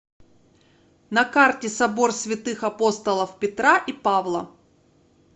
на карте собор святых апостолов петра и павла